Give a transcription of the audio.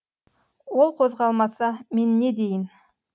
ол қозғалмаса мен не дейін